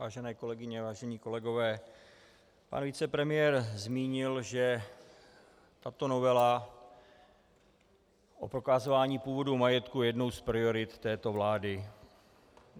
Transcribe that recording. Vážené kolegyně, vážení kolegové, pan vicepremiér zmínil, že tato novela o prokazování původu majetku je jednou z priorit této vlády.